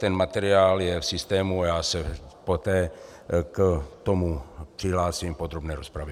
Ten materiál je v systému a já se poté k tomu přihlásím v podrobné rozpravě.